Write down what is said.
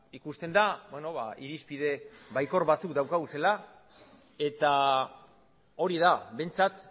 ikusten da irizpide baikor batzuk izan dauzkagula eta hori da behintzat